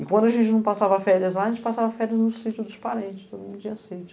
E quando a gente não passava férias lá, a gente passava férias no sítio dos parentes, então não tinha sítio.